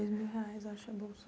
É dois mil reais, acho, a bolsa